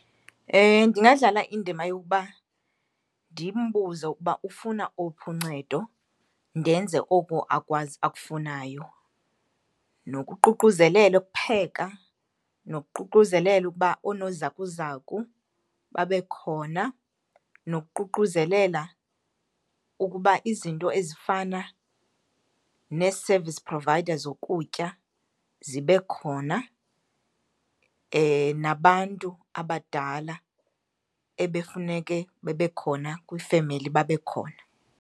Ndingadlala indima yokuba ndimbuze ukuba ufuna owuphi uncedo ndenze oku akwazi akufunayo. Nokuququzelela ukupheka, nokuququzelela ukuba oonozakuzaku babe khona, nokuququzelela ukuba izinto ezifana nee-service provider zokutya zibe khona, nabantu abadala ebefuneke bebekhona kwifemeli babe khona.